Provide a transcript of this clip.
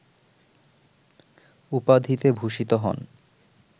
উপাধিতে ভূষিত হন